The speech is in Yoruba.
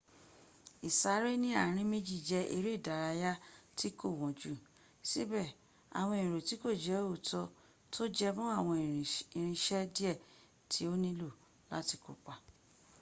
ìsáré ní ààrín méjí jé eré ìdárayá tí kò wọ́n jú síbẹ́ àwọn èrò tí kò jẹ òótọ́ tó jẹma àwọn irinṣẹ́ díẹ̀ tí o nílò láti kópa